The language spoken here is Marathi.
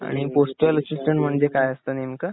आणि पोस्टल असिस्टन्ट म्हणजे काय असत नेमकं